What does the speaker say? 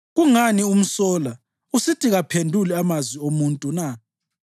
Kungani umsola usithi kaphenduli amazwi omuntu na?